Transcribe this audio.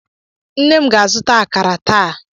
Nne m ga-azụta akara taa.